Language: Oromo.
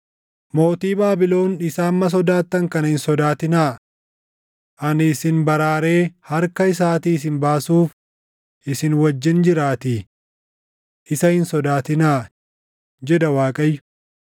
Mootii Baabilon isa amma sodaattan kana hin sodaatinaa. Ani isin baraaree harka isaatii isin baasuuf isin wajjin jiraatii. Isa hin sodaatinaa, jedha Waaqayyo.